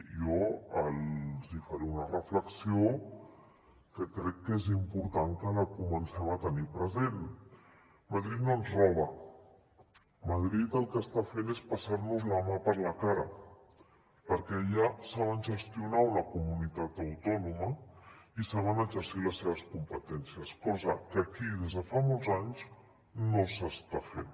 i jo els faré una reflexió que crec que és important que la comencem a tenir present madrid no ens roba madrid el que està fent és passar nos la mà per la cara perquè allà saben gestionar una comunitat autònoma i saben exercir les seves competències cosa que aquí des de fa molts anys no s’està fent